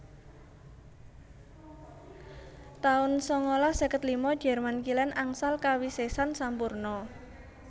taun sangalas seket lima jerman Kilèn angsal kawisésan sampurna